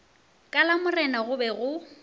ka lamorena go be go